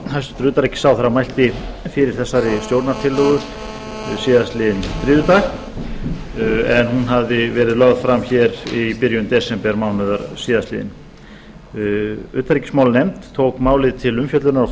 hæstvirts utanríkisráðherra mælti fyrir þessari stjórnartillögu á þriðjudaginn en hún hafði verið lögð fram hér í byrjun desembermánaðar tvö þúsund og átta utanríkismálanefnd tók málið til umfjöllunar á